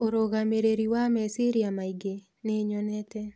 ũrũgamĩrĩri wa meciria maingĩ? Nĩ nyonente